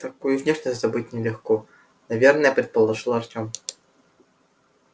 такую внешность забыть нелегко наверное предположил артём